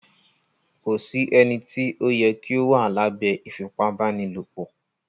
Kò sí ènìtí o yẹ kí o wà lábẹ ífipabanilopo